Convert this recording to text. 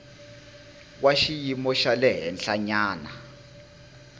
wa xiyimo xa le henhlanyana